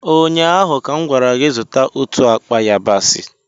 ụnyaahụ ka m gwara gị, zụta otu akpa yabasị!